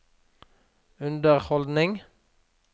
underholdning